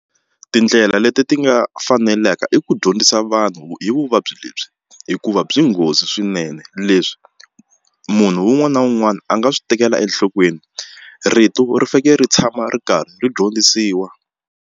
Tindlela leti ti nga faneleka i ku dyondzisa vanhu hi vuvabyi lebyi hikuva byi nghozi swinene leswi munhu un'wana na un'wana a nga swi tekela enhlokweni rito ri fanekele ri tshama ri karhi ri dyondzisiwa.